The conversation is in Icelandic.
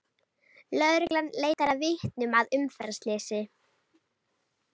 Lögreglan leitar að vitnum að umferðarslysi